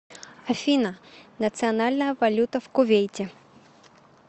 афина национальная валюта в кувейте